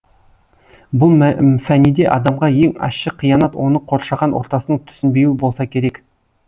бұл фәниде адамға ең ащы қиянат оны қоршаған ортасының түсінбеуі болса керек